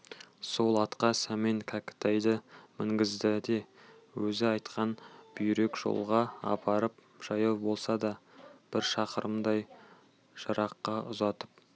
сол атқа сәмен кәкітайды мінгізді де өзі айтқан бүйрек жолға апарып жаяу болса да бір шақырымдай жыраққа ұзатып